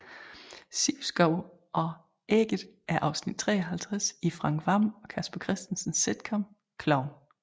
Sivsko og ægget er afsnit 53 i Frank Hvam og Casper Christensens sitcom Klovn